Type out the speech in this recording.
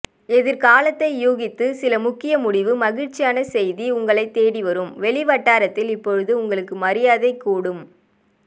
எதிர்காலத்தை ஊகித்து சில முக்கிய முடிவு மகிழ்ச்சியான செய்தி உங்களைத் தேடிவரும் வெளிவட்டாரத்தில் இப்போது உங்களுக்கு மரியாதை கூடும்